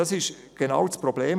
Das ist genau das Problem.